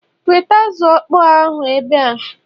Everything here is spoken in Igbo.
weta azụ okpo ahụ ebe a